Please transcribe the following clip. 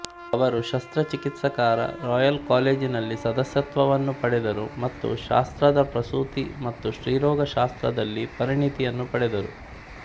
ಅವರು ಶಸ್ತ್ರಚಿಕಿತ್ಸಕರ ರಾಯಲ್ ಕಾಲೇಜಿನಲ್ಲಿ ಸದಸ್ಯತ್ವವನ್ನು ಪಡೆದರು ಮತ್ತು ಶಾಸ್ತ್ರದಪ್ರಸೂತಿ ಮತ್ತು ಸ್ತ್ರೀರೋಗ ಶಾಸ್ತ್ರದಲ್ಲಿ ಪರಿಣತಿಯನ್ನು ಪಡೆದರು